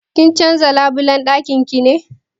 Kin canza labulan dakin ki ne?